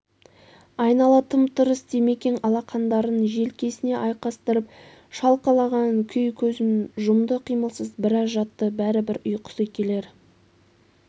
айнала тым-тырс димекең алақандарын желкесіне айқастырып шалқалаған күй көзін жұмды қимылсыз біраз жатты бәрібір ұйқысы келер